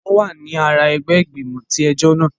Wọn wà ní àrà ẹgbẹ igbimọ tí ẹjọ náà